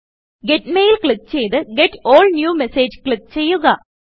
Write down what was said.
get mail click ചെയ്ത് get all new message click ചെയ്യുക